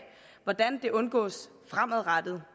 hvordan det undgås fremadrettet